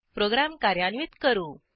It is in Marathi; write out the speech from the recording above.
प्रोग्रॅम कार्यान्वित करू